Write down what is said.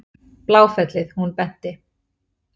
Bláfellið, hún benti.